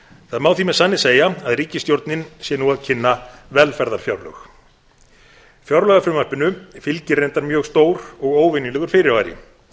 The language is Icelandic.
það má því með sanni segja að ríkisstjórnin sé nú að kynna velferðarfjárlög fjárlagafrumvarpinu fylgir reyndar mjög stór og óvenjulegur fyrirvari